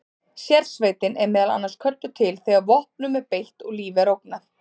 Sérsveitin er meðal annars kölluð til þegar vopnum er beitt og lífi er ógnað.